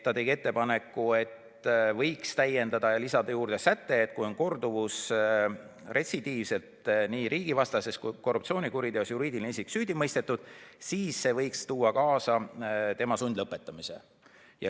Ta tegi ettepaneku, et eelnõu võiks täiendada ja lisada juurde sätte, et kui on tegemist korduvusega, s.t juriidiline isik on retsidiivselt nii riigivastases kui ka korruptsioonikuriteos süüdi mõistetud, siis see võiks tuua kaasa tema sundlõpetamise.